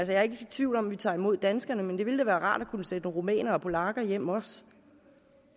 jeg er ikke i tvivl om at vi tager imod danskerne men det ville da være rart at kunne sende rumænere og polakker hjem også